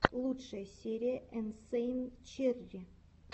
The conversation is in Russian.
лучшая серия инсэйн черри